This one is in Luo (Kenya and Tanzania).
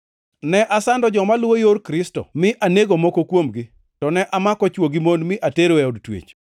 Ne asando joma luwo Yor Kristo mi anego moko kuomgi, to ne amako chwo gi mon mi atero e od twech.